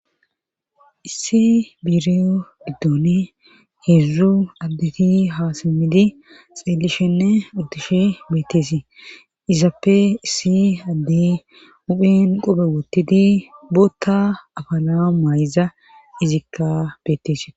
Issi biriyo diddoni heedzdzu addeti haasimmidi xeellishenne utishe beetteesi izappe issi adde uphen qope woottidi bootta afala maayza izikka bettees.